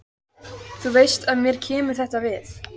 Þú veist að mér kemur þetta við.